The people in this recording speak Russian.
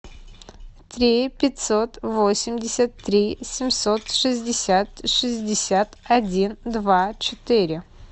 три пятьсот восемьдесят три семьсот шестьдесят шестьдесят один два четыре